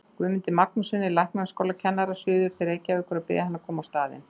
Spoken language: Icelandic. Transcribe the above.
Guðmundi Magnússyni læknaskólakennara suður til Reykjavíkur og biðja hann að koma á staðinn.